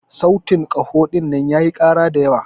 sautin kaho dinnan yayi kara da yawa.